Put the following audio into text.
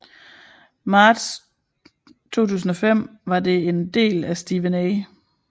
Marts 2005 var det en del af Steven A